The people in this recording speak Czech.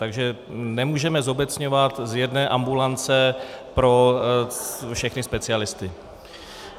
Takže nemůžeme zobecňovat z jedné ambulance pro všechny specialisty.